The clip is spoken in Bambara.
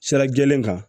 Sira jɛlen kan